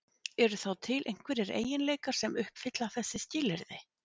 Eru þá til einhverjir eiginleikar sem uppfylla þessi skilyrði?